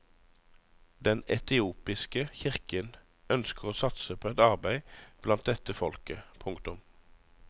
Den etiopiske kirken ønsker å satse på et arbeid blant dette folket. punktum